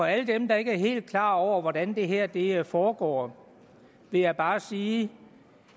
alle dem der ikke er helt klar over hvordan det her det her foregår vil jeg bare sige